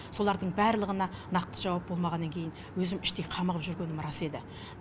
солардың бәрлығына нақты жауап болмағаннан кейін өзім іштей қамығып жүргенім рас еді